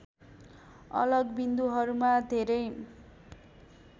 अलग बिन्दुहरूमा धेरै